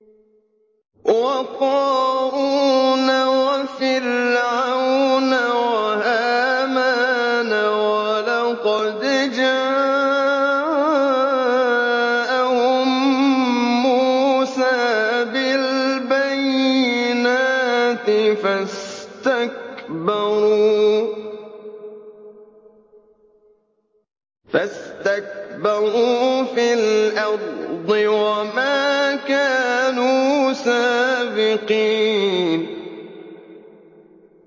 وَقَارُونَ وَفِرْعَوْنَ وَهَامَانَ ۖ وَلَقَدْ جَاءَهُم مُّوسَىٰ بِالْبَيِّنَاتِ فَاسْتَكْبَرُوا فِي الْأَرْضِ وَمَا كَانُوا سَابِقِينَ